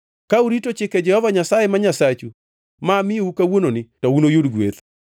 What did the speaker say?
Ka urito chike Jehova Nyasaye ma Nyasachu ma amiyou kawuononi, to unuyud gweth.